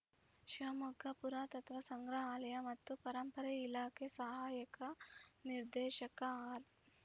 ಶಿವಮೊಗ್ಗ ಪುರಾತತ್ವ ಸಂಗ್ರಹಾಲಯ ಮತ್ತು ಪರಂಪರೆ ಇಲಾಖೆ ಸಹಾಯಕ ನಿರ್ದೇಶಕ ಆರ್‌